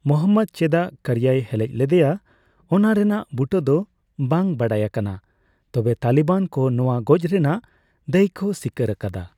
ᱢᱳᱦᱟᱢᱢᱚᱫᱽ ᱪᱮᱫᱟᱜ ᱠᱟᱨᱡᱟᱭᱮ ᱦᱮᱞᱮᱡ ᱞᱮᱫᱮᱭᱟ ᱚᱱᱟ ᱨᱮᱱᱟᱜ ᱵᱩᱴᱟᱹ ᱫᱚ ᱵᱟᱝ ᱵᱟᱰᱟᱭ ᱟᱠᱟᱱᱟ, ᱛᱚᱵᱮ ᱛᱟᱞᱤᱵᱟᱱ ᱠᱚ ᱱᱚᱣᱟ ᱜᱚᱡ ᱨᱮᱱᱟᱜ ᱫᱟᱭ ᱠᱚ ᱥᱤᱠᱟᱹᱨ ᱟᱠᱟᱫᱟ ᱾